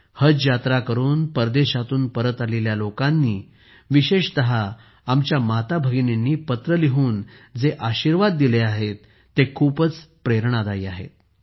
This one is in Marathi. हज यात्रा करून परदेशातून परत आलेल्या लोकांनी विशेषतः आमच्या माताभगिनींनी पत्रे लिहून जे आशीर्वाद दिले आहेत ते खूपच प्रेरणादायी आहेत